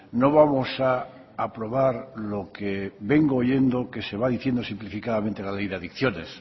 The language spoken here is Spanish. no vamos a aprobar lo que vengo oyendo que se va diciendo simplificadamente la ley de adicciones